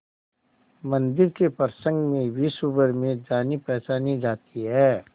मंदिर के प्रसंग में विश्वभर में जानीपहचानी जाती है